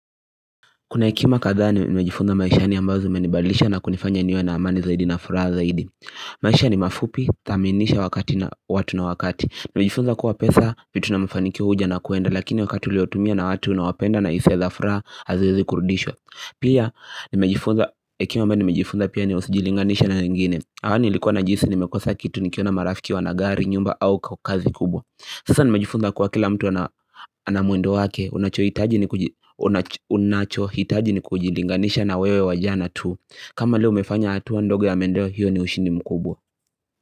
Kuna hekima kadhaa nimejifunza maishani ambazo zimenibalisha na kunifanya niwe na amani zaidi na furaha zaidi. Maisha ni mafupi, thaminisha wakati na watu na wakati. Nimejifunza kuwa pesa, vitu na mafanyikio huja na kuenda. Lakini wakati uliotumia na watu unawapenda na hisia la furaha haziezi kurudishwa. Pia, hekima ambayo nimejifunza pia ni usijilinganishe na wengine. Awali nilikuwa najihisi nimekosa kitu nikiona marafiki wanagari, nyumba au kazi kubwa Sasa ni nimejifunza kuwa kila mtu anamwendo wake. Unacho hitaji ni kujilinganisha na wewe wa jana tu. Kama leo umefanya hatua ndogo ya maendeleo hiyo ni ushini mkubwa.